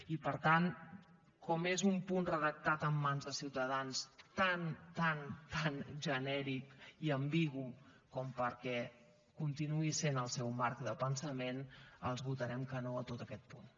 i per tant com que és un punt redactat per mans de ciutadans tan tan tan genèric i ambigu perquè continuï sent el seu marc de pensament els votarem que no a tot aquest punt